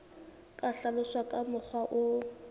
ka hlaloswa ka mokgwa o